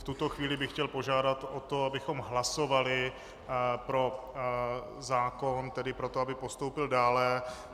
V tuto chvíli bych chtěl požádat o to, abychom hlasovali pro zákon, tedy pro to, aby postoupil dále.